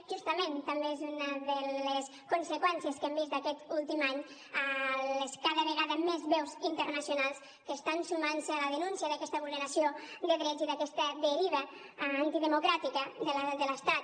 justament també és una de les conseqüències que hem vist d’aquest últim any les cada vegada més veus internacionals que estan sumant se a la denúncia d’aquesta vulneració de drets i d’aquesta deriva antidemocràtica de l’estat